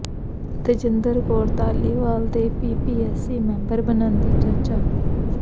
ਤੇਜਿੰਦਰ ਕੌਰ ਧਾਲੀਵਾਲ ਦੇ PPSC member ਬਣਨ ਦੀ ਚਰਚਾ